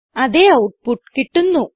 അതേ ഔട്ട്പുട്ട് കിട്ടുന്നു